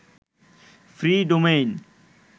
free domain